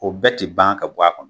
O bɛɛ tɛ ban ka bɔ a kɔnɔ.